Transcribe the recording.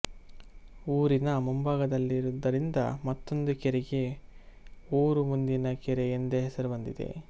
ಊರಿನ ಮುಂಭಾಗದಲ್ಲಿರುವುದರಿಂದ ಮತ್ತೊಂದು ಕೆರೆಗೆ ಊರು ಮುಂದಿನ ಕೆರೆ ಎಂದೇ ಹೆಸರು ಬಂದಿದೆ